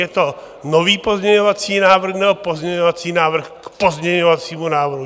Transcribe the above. Je to nový pozměňovací návrh, nebo pozměňovací návrh k pozměňovacímu návrhu?